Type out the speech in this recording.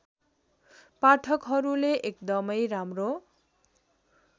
पाठकहरूले एकदमै राम्रो